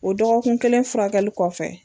O dɔgɔkun kelen furakɛli kɔfɛ